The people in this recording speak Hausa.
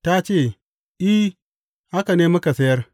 Ta ce, I, haka ne muka sayar.